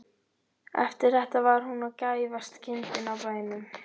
Eftir þetta var hún gæfasta kindin á bænum.